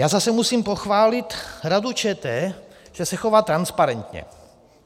Já zase musím pochválit Radu ČT, že se chová transparentně.